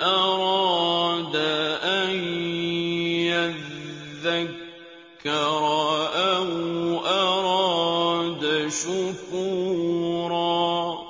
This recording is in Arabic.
أَرَادَ أَن يَذَّكَّرَ أَوْ أَرَادَ شُكُورًا